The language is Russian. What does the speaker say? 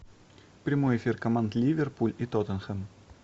прямой эфир команд ливерпуль и тоттенхэм